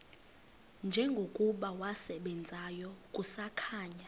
njengokuba wasebenzayo kusakhanya